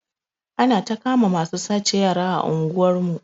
Anata kama masu sace yara a unguwar mu